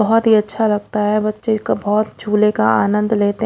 बहोत ही अच्छा लगता है बच्चे को और झूले का आनन्द लेते है।